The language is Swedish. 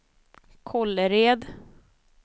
Kållered